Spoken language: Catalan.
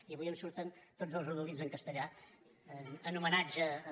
i avui em surten tots els rodolins en castellà en homenatge a